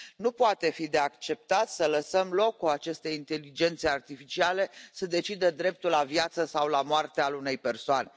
Nu poate fi acceptat să lăsăm loc ca aceste inteligențe artificiale să decidă dreptul la viață sau la moarte al unei persoane.